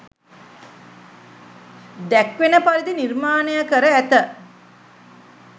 දැක්වෙන පරිදි නිර්මාණය කර ඇත.